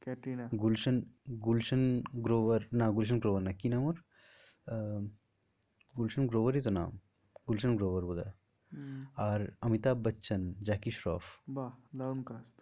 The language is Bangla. ক্যাটরিনা গুলশান গুলশান গ্রোভার না গুলশান গোয়ার না কি নাম ওর? আহ গুলশান গ্রোভারই তো নাম গুলশান গ্রোভার আর অমিতাভ বচ্চন, জ্যাকি শ্রফ বাহ দারুন